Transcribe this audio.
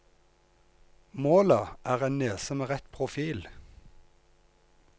Målet er en nese med rett profil.